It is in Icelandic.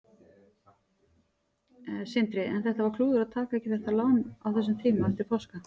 Sindri: En var klúður að taka ekki þetta lán á þessum tíma eftir páska?